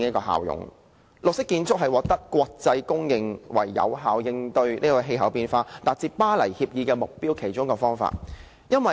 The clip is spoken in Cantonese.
採用綠色建築是國際公認為有效應對氣候變化及達致《巴黎協定》的目標的其中一個方法。